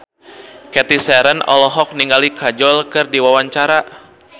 Cathy Sharon olohok ningali Kajol keur diwawancara